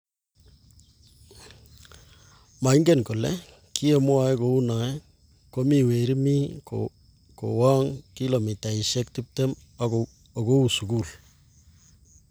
Maingen kole kiyemwoe kounoe komii weriii mi kowook kilomitaishe tiptem okou sukul.